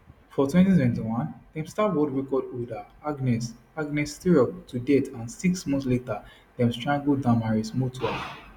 for 2021 dem stab world record holder agnes agnes tirop to death and six months later dem strangle damaris mutua